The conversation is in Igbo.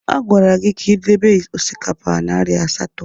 A gwara gị ka ị debe osikapa narị asatọ!